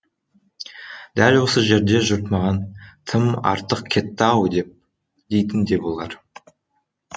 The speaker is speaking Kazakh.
дәл осы жерде жұрт маған тым артық кетті ау дейтін де болар